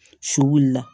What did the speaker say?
Su wuli la